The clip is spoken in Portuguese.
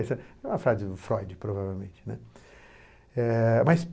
Essa é uma frase do Freud, provavelmente, né. Eh, mas